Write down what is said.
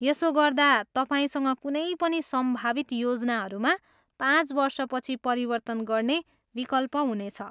यसो गर्दा तपाईँसँग कुनै पनि सम्भावित योजनाहरूमा पाँच वर्षपछि परिवर्तन गर्ने विकल्प हुनेछ।